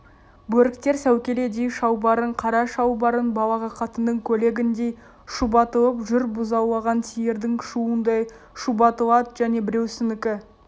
бөріктер сәукеледей шалбарын қара шалбарын балағы қатынның көйлегіндей шұбатылып жүр бұзаулаған сиырдың шуындай шұбатылады және біреусінікі